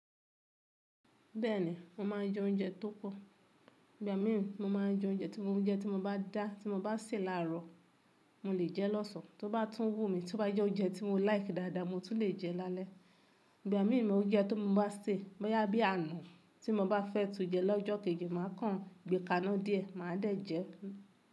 Bẹ́ẹ̀ni, mo máà ń jẹ oúnjẹ tó pọ̀. Ìgbà mí ì mo máa ń jẹ oúnjẹ tí mo bá dá tí mo bá sè láàárọ̀, mo lè jẹ lọ́sàn tó bá tún wù mí, tó bá jẹ́ oúnjẹ tí mo like dáadáa mo tún lè jẹ́ lálẹ́. Ìgbà mí ì mo oúnjẹ tó mo bá sè, bóyá bí àná tí mo bá fẹ́ tu jẹ lọ́jọ́ kejì, màá kàn gbé kàánà díẹ̀, màá dẹ̀ jẹ ẹ́.